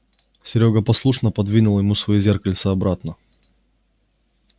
серёга послушно пододвинул ему своё зеркальце обратно